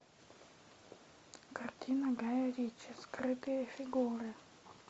картина гая ричи скрытые фигуры